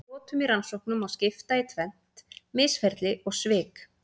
Brotum í rannsóknum má skipta í tvennt: misferli og svik.